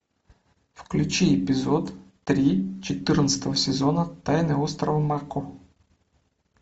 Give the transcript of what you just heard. включи эпизод три четырнадцатого сезона тайны острова мако